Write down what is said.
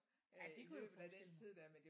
Ja det kunne jeg forestille mig